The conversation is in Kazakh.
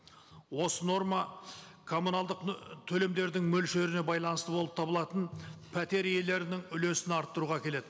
осы норма коммуналдық төлемдердің мөлшеріне байланысты болып табылатын пәтер иелерінің үлесін арттыруға әкеледі